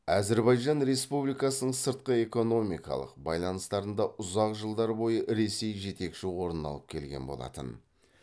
әзірбайжан республикасының сыртқы экономикалық байланыстарында ұзақ жылдар бойы ресей жетекші орын алып келген болатын